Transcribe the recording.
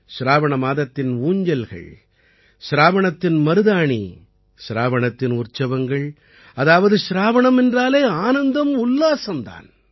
சிராவண மாதத்தின் ஊஞ்சல்கள் சிராவணத்தின் மருதாணி சிராவணத்தின் உற்சவங்கள் அதாவது சிராவணம் என்றாலே ஆனந்தம் உல்லாசம் தான்